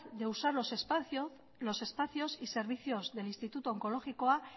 de usar los espacios y servicios del instituto onkologikoa